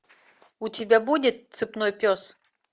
у тебя будет цепной пес